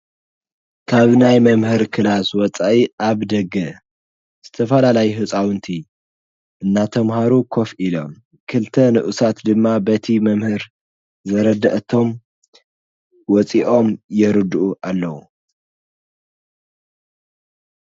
ካብ ናይ መምህሪ ክላስ ወፃኢ አብ ደገ ዝተፈላለዩ ህፃውንቲ እናተምሃሩ ኮፍ ኢሎም፤ ክልተ ንኡሳት ድማ በቲ መምህር ዘረደኣቶም ወፂኦም የረድኡ አለዉ።